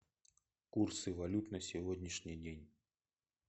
курсы валют на сегодняшний день